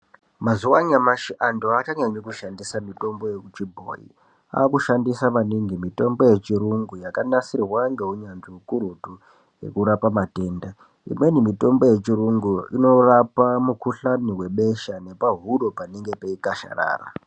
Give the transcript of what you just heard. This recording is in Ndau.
Mazuwanyamashe antu achanyanyo kushandisa mitombo yechibhoyi. Akushandisa maningi mitombo yechirungu yakanasirwa ngewunyazvi wukurutu yekurapa matenda. Imweni mitombo yechirungu, inorapa mukhuhlane webesha nepahuro panenge peyikasharara.